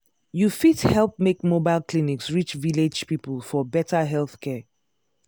you fit help make mobile clinics reach village people for better healthcare.